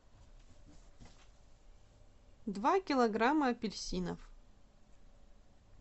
два килограмма апельсинов